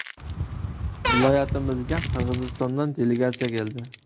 Viloyatimizga Qirg‘izistondan delegatsiya keldi.